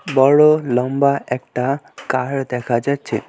বড় লম্বা একটা কার দেখা যাচ্ছে।